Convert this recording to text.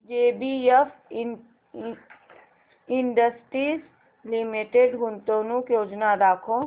JBF industries limited गुंतवणूक योजना दाखव